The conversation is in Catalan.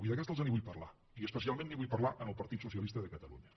i d’aquesta els en vull parlar i especialment li’n vull parlar al partit socialista de catalunya